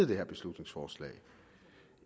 det her beslutningsforslag